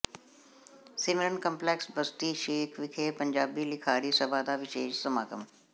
ਸਿਮਰਨ complex Basti Sheikh ਵਿਖੇ ਪੰਜਾਬੀ ਲਿਖਾਰੀ ਸਭਾ ਦਾ ਵਿਸ਼ੇਸ਼ ਸਮਾਗਮ